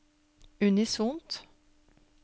unisont